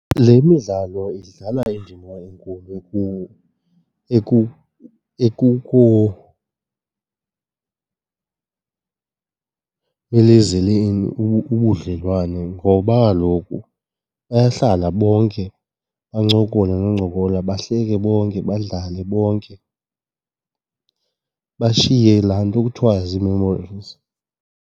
Le midlalo idlala indima enkulu ubudlelwane ngoba kaloku bayahlala bonke bancokole noncokola, bahleke bonke, badlale bonke, bashiye laa nto kuthiwa zii-memories.